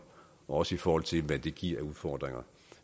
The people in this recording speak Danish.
også i forhold til hvad det giver af udfordringer